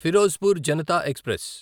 Firozpur Janata express